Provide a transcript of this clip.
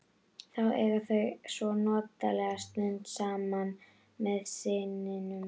Þá eiga þau svo notalega stund saman með syninum.